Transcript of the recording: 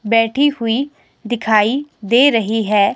बैठी हुई दिखाई दे रही है।